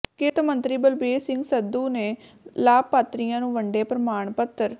ਕਿਰਤ ਮੰਤਰੀ ਬਲਬੀਰ ਸਿੰਘ ਸਿੱਧੂ ਨੇ ਲਾਭਪਾਤਰੀਆਂ ਨੂੰ ਵੰਡੇ ਪ੍ਰਮਾਣ ਪੱਤਰ